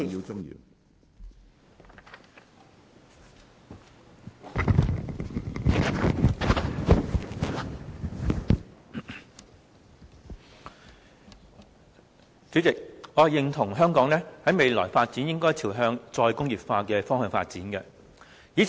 主席，我認同香港未來應該朝向"再工業化"的方向發展。